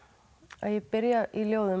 að ég byrja í ljóðum